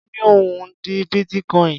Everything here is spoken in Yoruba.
Ó ní òun ò ní bítíkoìnì.